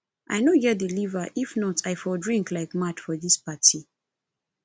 i no get the liver if not i for drink like mad for dis party